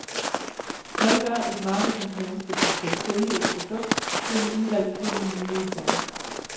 Hvad gør et marketingmenneske, som skal sælge et produkt til en udvalgt gruppe mulige kunder?